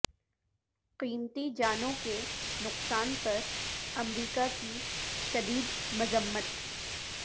قیمتی جانوں کے نقصان پر امریکہ کی شدید مذمت